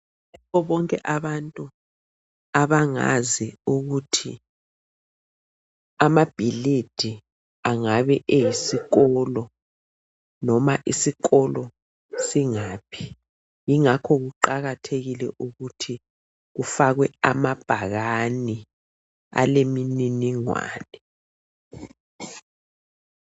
Kubo bonke abantu abangazi ukuthi amabhilidi angabe eyisikolo noma isikolo singaphi ingakho kuqakathekile ukuthi kufakwe amabhakane alemininingwane.